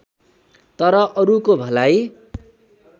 तर अरूको भलाइ